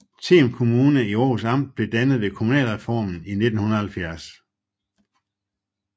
Them Kommune i Århus Amt blev dannet ved kommunalreformen i 1970